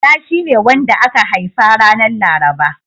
Bala shine wanda aka haifa ranar Laraba.